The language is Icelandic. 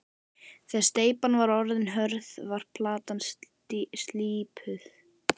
Þegar steypan var orðin hörð var platan slípuð.